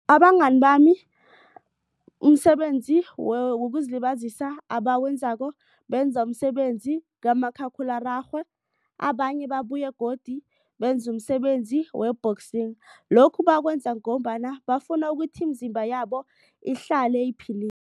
Abangani bami umsebenzi wokuzilibazisa abawenzako benza umsebenzi kamakhakhulararhwe. Abanye babuye godu benze umsebenzi we-boxing. Lokhu bakwenza ngombana bafuna ukuthi imizimba yabo ihlale